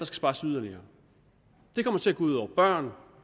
spares yderligere det kommer til at gå ud over børn